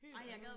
Helt andet